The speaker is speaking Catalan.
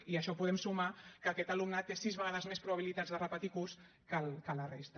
i a això podem sumar que aquest alumnat té sis vegades més probabilitats de repetir curs que la resta